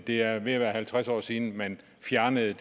det er ved at være halvtreds år siden man fjernede